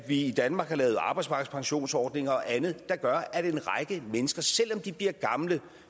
i danmark har lavet arbejdsmarkedspensionsordninger og andet der gør at en række mennesker selv om de bliver gamle